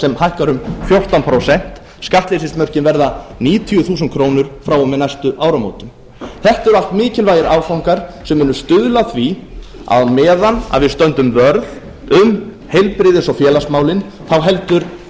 sem hækkar um fjórtán prósent skattleysismörkin verða níutíu þúsund krónur frá og með næstu áramótum þetta eru allt mikilvægir áfangar sem munu stuðla að því að á meðan við stöndum vörð um heilbrigðis og félagsmálin þá heldur